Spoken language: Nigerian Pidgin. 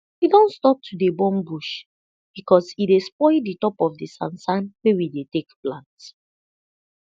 we don stop to dey burn bush be cause e dey spoil de top of de sansan wey we dey take plant